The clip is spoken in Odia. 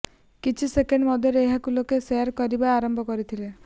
କିଛି ସେକେଣ୍ଡ ମଧ୍ୟରେ ଏହାକୁ ଲୋକେ ଶେୟାର କରିବା ଆରମ୍ଭ କରିଥିଲେ